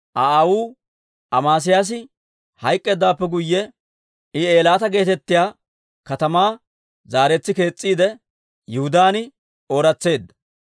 Aa aawuu Amesiyaasi hayk'k'eeddawaappe guyye, I Eelaata geetettiyaa katamaa zaaretsi kees's'iide, Yihudaan ooratseedda.